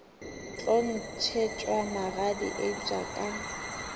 tlo ntšhetšwa magadi eupša ka